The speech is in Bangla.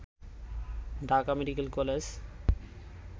Dhaka medical college